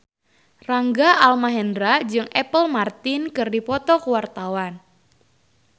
Rangga Almahendra jeung Apple Martin keur dipoto ku wartawan